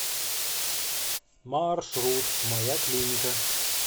маршрут моя клиника